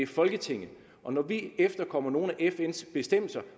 folketinget når vi efterkommer nogle af fns bestemmelser